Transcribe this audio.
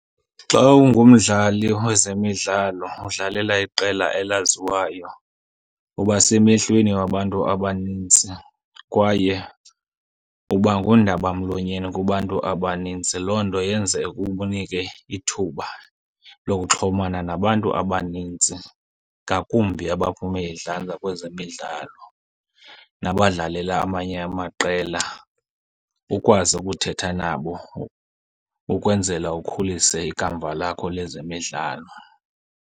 Xa ungumdlali wezemidlalo udlalela iqela elaziwayo uba semehlweni wabantu abanintsi kwaye uba ngundabamlonyeni kubantu abaninzi. Loo nto yenze ukunike ithuba lokuxhomana nabantu abanintsi ngakumbi abaphume idlanza kwezemidlalo, nabadlalela amanye amaqela ukwazi ukuthetha nabo ukwenzela ukhulise ikamva lakho lezemidlalo.